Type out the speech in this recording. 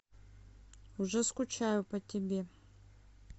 уже скучаю по тебе